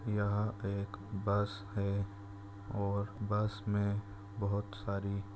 यहा एक बस है और बस मे बहुत सारी--